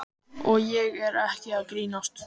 Og ég er ekki að grínast.